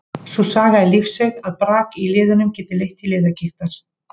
Sú saga er lífseiga að brak í liðum geti leitt til liðagigtar.